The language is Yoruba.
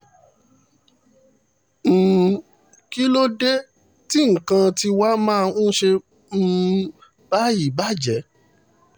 um kí ló dé tí nǹkan tiwa máa ń ṣe um báyìí bàjẹ́